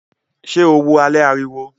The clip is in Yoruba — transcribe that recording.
Ṣé o wo alẹ́ ariwo?